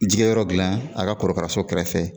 Jikɛyɔrɔ dilan a ka korokaraso kɛrɛfɛ